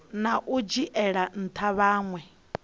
na u dzhiela ntha vhanwe